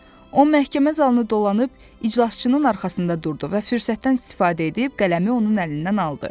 O məhkəmə zalını dolanıb, iclasçının arxasında durdu və fürsətdən istifadə edib qələmi onun əlindən aldı.